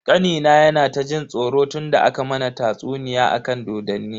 Kanina yana ta jin tsoro tunda aka mana tatsuniya akan dodonni.